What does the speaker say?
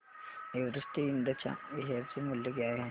Everest इंड च्या share चे मूल्य काय आहे